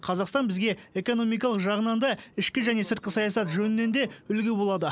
қазақстан бізге экономикалық жағынан да ішкі және сыртқы саясат жөнінен де үлгі болады